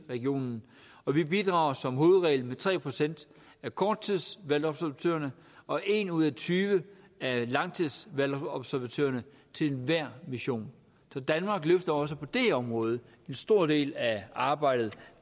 regionen og vi bidrager som hovedregel med tre procent af korttidsvalgobservatørerne og en ud af tyve af langtidsvalgobservatørerne til enhver mission så danmark løfter også på det område en stor del af arbejdet